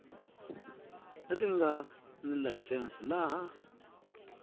leti nga ni layisense laha